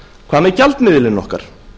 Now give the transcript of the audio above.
hvað með gjaldmiðilinn okkar